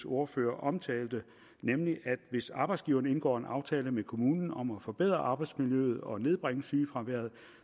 ordfører omtalte nemlig at hvis arbejdsgiverne indgår en aftale med kommunen om at forbedre arbejdsmiljøet og nedbringe sygefraværet